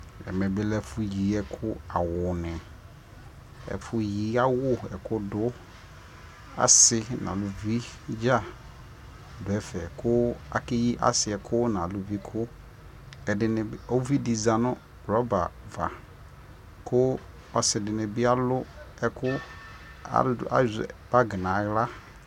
ɛmɛ bi lɛ ɛƒʋ yi ɛkʋ, awʋni ɛƒʋ yi awʋ, ɛkʋ dʋ, asii nʋ alʋvi dza dʋ ɛƒɛ kʋ akɛyi asii kʋ nʋ alʋvi kʋ, ɛdiniʋvidi zanʋ rubber aɣa kʋ ɔsii dini bi alʋ ɛkʋ, azɛ bagi ala